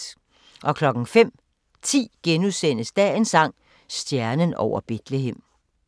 05:10: Dagens sang: Stjernen over Betlehem *